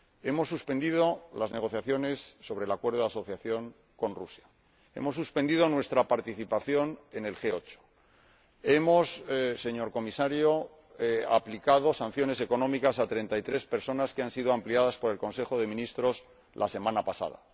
Hemos suspendido las negociaciones sobre el Acuerdo de Asociación con Rusia, hemos suspendido nuestra participación en el G8 y hemos aplicado, señor Comisario, sanciones económicas a treinta y tres personas, que han sido ampliadas por el Consejo de Ministros la semana pasada.